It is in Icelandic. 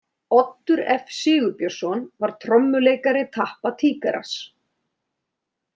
Oddur F Sigurbjörnsson var trommuleikari Tappa Tíkarrass.